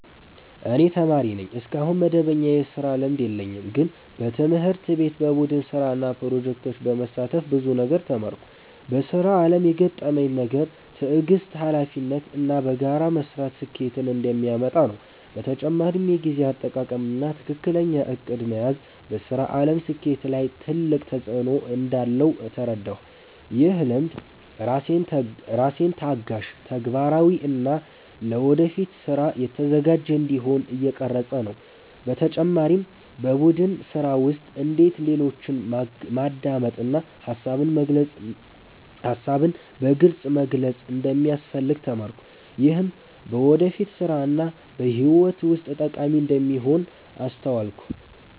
እኔ ተማሪ ነኝ፣ እስካሁን መደበኛ የስራ ልምድ የለኝም። ግን በትምህርት ቤት በቡድን ስራ እና ፕሮጀክቶች በመሳተፍ ብዙ ነገር ተማርኩ። በስራ አለም የገረመኝ ነገር ትዕግስት፣ ሀላፊነት እና በጋራ መስራት ስኬትን እንደሚያመጣ ነው። በተጨማሪም የጊዜ አጠቃቀም እና ትክክለኛ እቅድ መያዝ በስራ አለም ስኬት ላይ ትልቅ ተፅዕኖ እንዳለው ተረዳሁ። ይህ ልምድ ራሴን ታጋሽ፣ ተግባራዊ እና ለወደፊት ስራ የተዘጋጀ እንዲሆን እየቀረፀኝ ነው። በተጨማሪም በቡድን ስራ ውስጥ እንዴት ሌሎችን ማዳመጥ እና ሀሳብን በግልፅ መግለጽ እንደሚያስፈልግ ተማርኩ። ይህም በወደፊት ስራ እና በህይወት ውስጥ ጠቃሚ እንደሚሆን አስተዋልኩ።